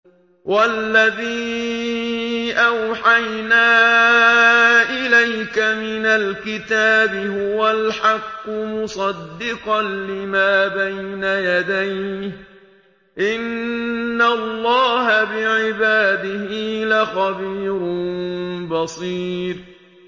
وَالَّذِي أَوْحَيْنَا إِلَيْكَ مِنَ الْكِتَابِ هُوَ الْحَقُّ مُصَدِّقًا لِّمَا بَيْنَ يَدَيْهِ ۗ إِنَّ اللَّهَ بِعِبَادِهِ لَخَبِيرٌ بَصِيرٌ